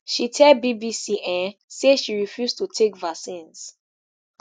she tell bbc um say she refuse to take vaccines